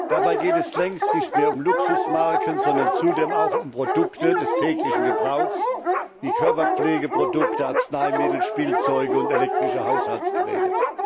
Dabei geht es längst nicht mehr um Luxusmarken, sondern zunehmend auch um Produkte des täglichen Gebrauchs wie Körperpflegeprodukte, Arzneimittel, Spielzeuge und elektrische Haushaltsgeräte.